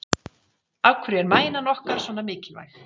Af hverju er mænan okkar svona mikilvæg?